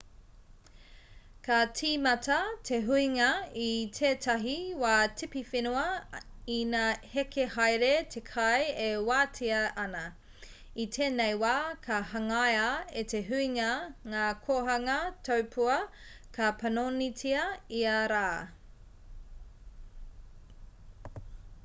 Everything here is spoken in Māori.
ka tīmata te huinga i tētahi wā tipiwhenua ina heke haere te kai e wātea ana i tēnei wā ka hangaia e te huinga ngā kōhanga taupua ka panonitia ia rā